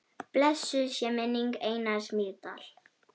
Blessuð sé minning Einars Mýrdal.